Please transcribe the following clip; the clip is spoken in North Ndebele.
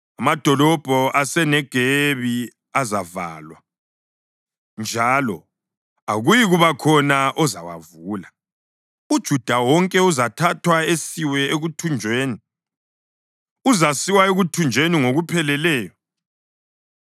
Amadolobho aseNegebi azavalwa, njalo akuyikuba khona ozawavula. UJuda wonke uzathathwa asiwe ekuthunjweni, uzasiwa ekuthunjweni ngokupheleleyo.